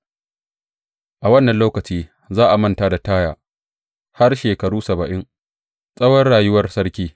A wannan lokaci za a manta da Taya har shekaru saba’in, tsawon rayuwar sarki.